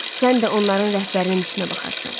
Sən də onların rəhbərinin işinə baxarsan.